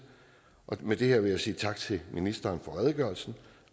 med det her vil jeg sige tak til ministeren for redegørelsen